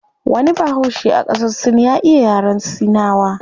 Wani bahaushe a qasar sin ya iya yaren sinawa